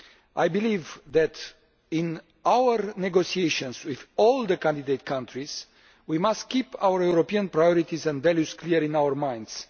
I believe that in our negotiations with all the candidate countries we must keep our European priorities and values clear in our minds.